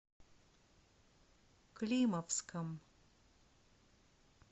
климовском